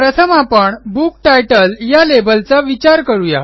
प्रथम आपण book title या लेबलचा विचार करू या